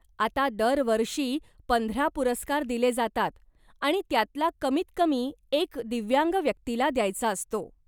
आता दरवर्षी पंधरा पुरस्कार दिले जातात आणि त्यातला कमीत कमी एक दिव्यांग व्यक्तीला द्यायचा असतो.